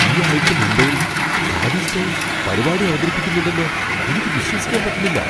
ഈ ആഴ്ച മുംബൈയിൽ ഹാരി സ്റ്റൈൽസ് പരിപാടി അവതരിപ്പിക്കുന്നുണ്ടെന്ന് എനിക്ക് വിശ്വസിക്കാൻ പറ്റണില്ല.